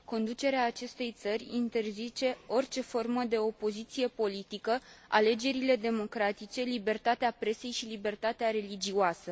Conducerea acestei țări interzice orice formă de opoziție politică, alegerile democratice, libertatea presei și libertatea religioasă.